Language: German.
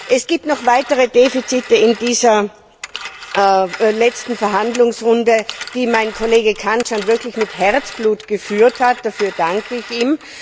Es gibt noch weitere Defizite in dieser letzten Verhandlungsrunde, die mein Kollege Cancian wirklich mit Herzblut geführt hat dafür danke ich ihm.